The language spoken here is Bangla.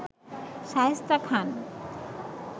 শায়েস্তা খান